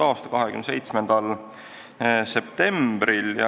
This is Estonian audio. a 27. septembril.